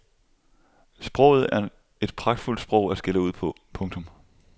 Sproget er et pragtfuldt sprog at skælde ud på. punktum